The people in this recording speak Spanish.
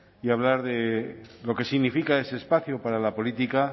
y hablar de lo que significa ese espacio para la política